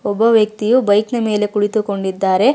ಒಬ್ಬ ವ್ಯಕ್ತಿಯು ಬೈಕ್ ನ ಮೆಲೆ ಕುಳಿತುಕೊಂಡಿದ್ದಾರೆ.